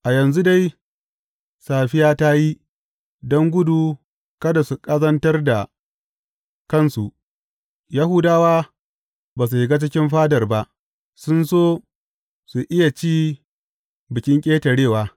A yanzu dai, safiya ta yi, don gudu kada su ƙazantar da kansu Yahudawa ba su shiga cikin fadar ba; sun so su iya ci Bikin Ƙetarewa.